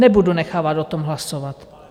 Nebudu nechávat o tom hlasovat.